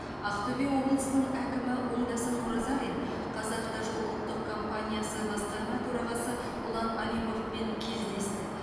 ақтөбе облысының әкімі оңдасын оразалин қазавтожол ұлттық компаниясы басқарма төрағасы ұлан алиповпен кездесті